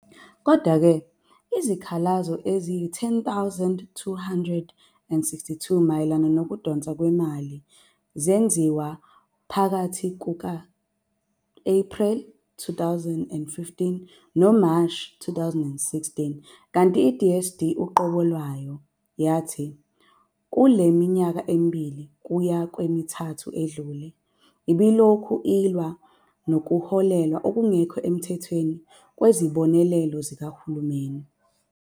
Kodwa-ke, izikhalazo eziyi-10,262 mayelana nokudonswa kwemali zenziwa phakathi kuka-Ephreli 2015 noMashi 2016, kanti i-DSD uqobo lwayo yathi "kule minyaka emibili kuya kwemithathu edlule" ibilokhu ilwa nokuholelwa okungekho emthethweni kwezibonelelo zikahulumeni.